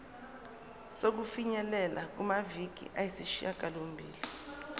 sokufinyelela kumaviki ayisishagalombili